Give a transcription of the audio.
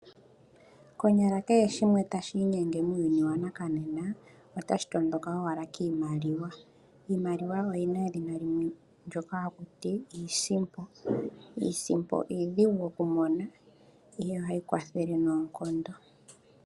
Konyala kehe shimwe tashi inyenge muuyuni wonena otashi matuka owala kiimaliwa. Iimaliwa oyina edhina limwe ndjoka hakuti iisimpo, iisimpo iidhigu okumona yo ohayi kwathele noonkondo.